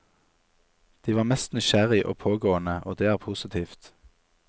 De var mest nysgjerrig og pågående, og det er positivt.